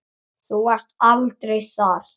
Þú varst aldrei þar.